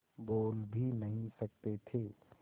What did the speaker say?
बोल भी नहीं सकते थे